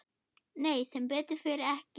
Nei sem betur fer ekki.